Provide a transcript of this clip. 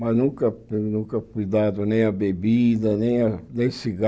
Mas nunca eu nunca fui dado nem a bebida, nem a nem